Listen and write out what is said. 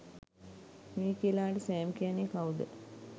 මිකේලාට Sam කියන්නේ කවුද